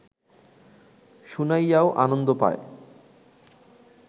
শুনাইয়াও আনন্দ পায়